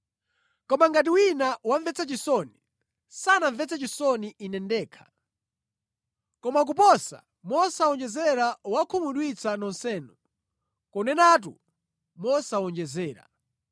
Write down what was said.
Koma ngati wina wamvetsa chisoni, sanamvetse chisoni ine ndekha, koma koposa mosawonjezera wakhumudwitsa nonsenu, kunenatu mosawonjezera.